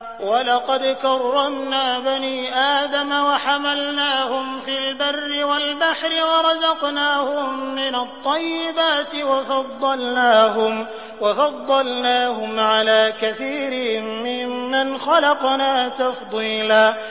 ۞ وَلَقَدْ كَرَّمْنَا بَنِي آدَمَ وَحَمَلْنَاهُمْ فِي الْبَرِّ وَالْبَحْرِ وَرَزَقْنَاهُم مِّنَ الطَّيِّبَاتِ وَفَضَّلْنَاهُمْ عَلَىٰ كَثِيرٍ مِّمَّنْ خَلَقْنَا تَفْضِيلًا